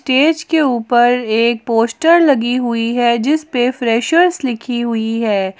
Stage के ऊपर एक पोस्टर लगी हुई है जिस पे फ्रेशर्स लिखी हुई है।